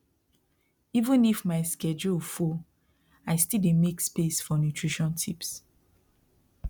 even if my schedule full i still dey make space for nutrition tips